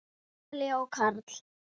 Emilía og Karl.